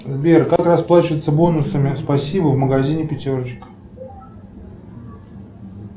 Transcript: сбер как расплачиваться бонусами спасибо в магазине пятерочка